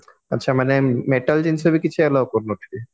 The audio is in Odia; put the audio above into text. ଆଛା ମାନେ metal ଜିନିଷ ବି କିଛି allow କରୁନଥିବେ